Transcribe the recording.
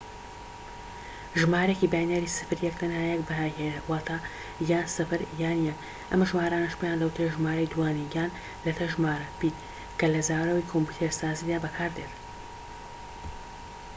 ژمارەیەکی باینەری سفر یەك تەنها یەك بەهای هەیە، واتە یان ٠ یان ١، ئەم ژمارانەش پێیان دەوترێت ژمارەی دووانی- یان لەتە ژمارە بیت کە لە زاراوەی کۆمپیوتەرسازیدا بەکاردێت